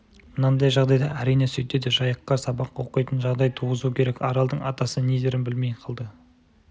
мынандай жағдайда әрине сөйтеді жайыққа сабақ оқитын жағдай туғызу керек аралдың атасы не дерін білмей қалды